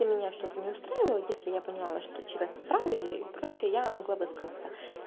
если меня что-то не устраивало если я поняла что человек не прав и прочее я могла высказаться